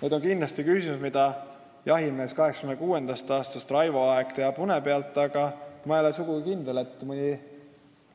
Need on kindlasti küsimused, mida Raivo Aeg, jahimees juba 1986. aastast, teab une pealt, aga ma ei ole sugugi kindel, et